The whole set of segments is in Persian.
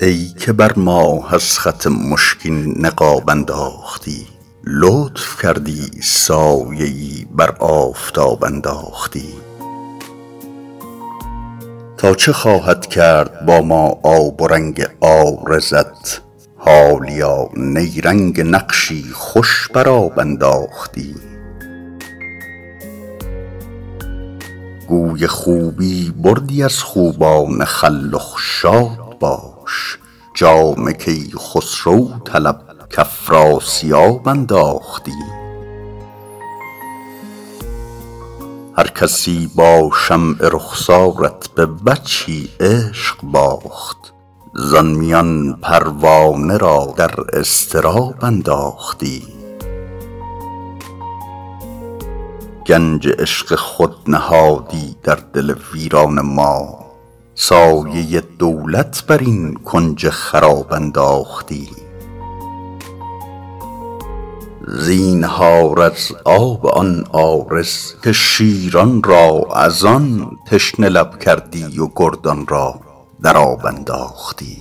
ای که بر ماه از خط مشکین نقاب انداختی لطف کردی سایه ای بر آفتاب انداختی تا چه خواهد کرد با ما آب و رنگ عارضت حالیا نیرنگ نقشی خوش بر آب انداختی گوی خوبی بردی از خوبان خلخ شاد باش جام کیخسرو طلب کافراسیاب انداختی هرکسی با شمع رخسارت به وجهی عشق باخت زان میان پروانه را در اضطراب انداختی گنج عشق خود نهادی در دل ویران ما سایه دولت بر این کنج خراب انداختی زینهار از آب آن عارض که شیران را از آن تشنه لب کردی و گردان را در آب انداختی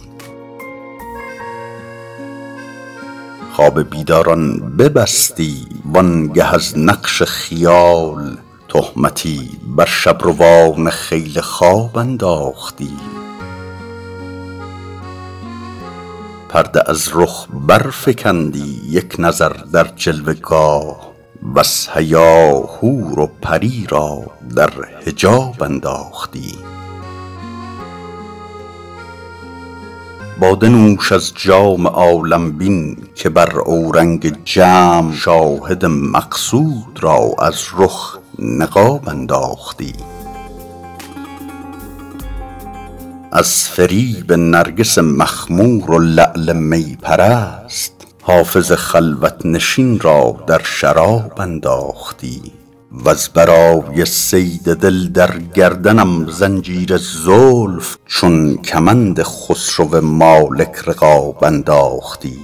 خواب بیداران ببستی وآن گه از نقش خیال تهمتی بر شب روان خیل خواب انداختی پرده از رخ برفکندی یک نظر در جلوه گاه وز حیا حور و پری را در حجاب انداختی باده نوش از جام عالم بین که بر اورنگ جم شاهد مقصود را از رخ نقاب انداختی از فریب نرگس مخمور و لعل می پرست حافظ خلوت نشین را در شراب انداختی وز برای صید دل در گردنم زنجیر زلف چون کمند خسرو مالک رقاب انداختی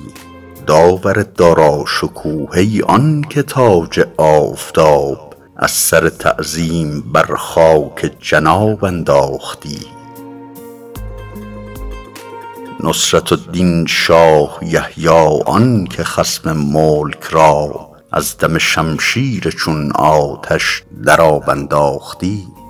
داور داراشکوه ای آن که تاج آفتاب از سر تعظیم بر خاک جناب انداختی نصرة الدین شاه یحیی آن که خصم ملک را از دم شمشیر چون آتش در آب انداختی